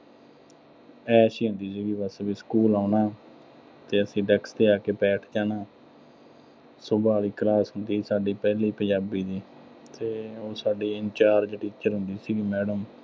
ਐਸ਼ ਹੀ ਹੁੰਦੀ ਸੀਗੀ ਬਸ, ਵੀ ਸਕੂਲ ਆਉਣਾ। ਤੇ ਅਸੀਂ ਤੇ ਆ ਕੇ ਬੈਠ ਜਾਣਾ। ਸੁਭਾਵਿਕ class ਹੁੰਦੀ ਸੀਗੀ ਸਾਡੀ ਪਹਿਲੀ ਪੰਜਾਬੀ ਦੀ। ਤੇ ਉਹ ਸਾਡੀ in charge teacher ਹੁੰਦੀ ਸੀਗੀ madam